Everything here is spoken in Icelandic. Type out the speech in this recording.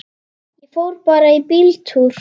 Ég fór bara í bíltúr.